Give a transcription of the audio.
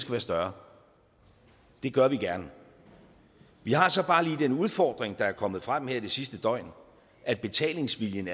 være større det gør vi gerne vi har så bare lige den udfordring der er kommet frem her det sidste døgn at betalingsviljen